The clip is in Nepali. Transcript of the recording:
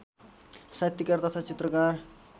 साहित्यकार तथा चित्रकार